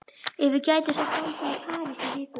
Ef ég gæti svo stansað í París í viku?